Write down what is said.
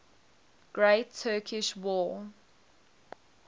great turkish war